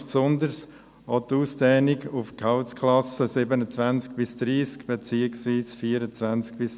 Das betrifft insbesondere auch die Ausdehnung auf die Gehaltsklassen 27–30 beziehungsweise 24–26.